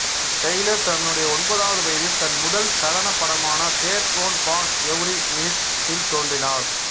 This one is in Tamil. டெய்லர் தன்னுடைய ஒன்பதாவது வயதில் தன் முதல் சலனப் படமான there's one born every minute டில் தோன்றினார்